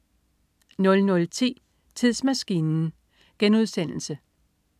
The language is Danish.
00.10 Tidsmaskinen*